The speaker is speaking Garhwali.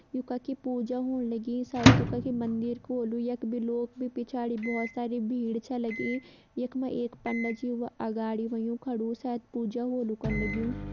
यु कखि पूजा होण लगीं। सायद यो कखि मंदिर को होलु। यक बि लोग बि पिछाड़ि बोहोत सारी भीड़ छ लगीं। यक मां एक पंडत जी व अगाड़ि वयुं खड़ु शायद पूजा होलु कन लग्युं।